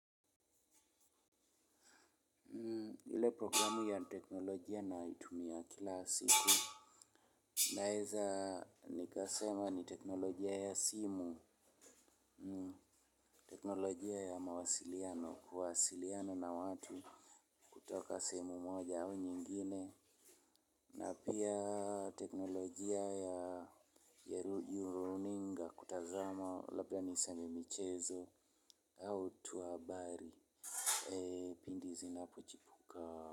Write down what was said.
Ile programu ya teknolojia ninayoitumia kila siku. Naeza nikasema ni teknolojia ya simu. Teknolojia ya mawasiliano. Kuwasiliana na watu, kutoka sehemu moja au nyingine. Na pia teknolojia ya runinga kutazama. Labda niseme michezo. Au tuhabari. Pindi zinapochipuka.